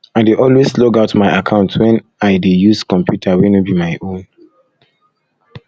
i dey always log out my account when i dey use computer wey no be my own